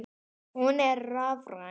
Hún er rafræn.